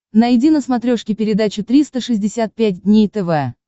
найди на смотрешке передачу триста шестьдесят пять дней тв